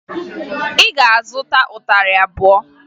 Ị ga-azụta ịtarị abụọ!